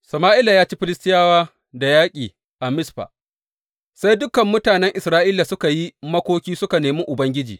Sama’ila ya ci Filistiyawa da yaƙi a Mizfa Sai dukan mutanen Isra’ila suka yi makoki suka nemi Ubangiji.